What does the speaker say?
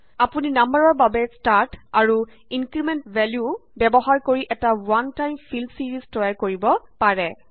আপুনি নাম্বাৰৰ বাবে ষ্টাৰ্ট এন্দ আৰু ইনক্ৰিমেন্ট ভেল্যু ব্যৱহাৰ কৰি এটা ৱান টাইম ফিল ছিৰিজ তৈয়াৰ কৰিব পাৰে